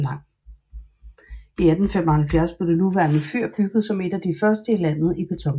I 1875 blev det nuværende fyr bygget som et af de første i landet i beton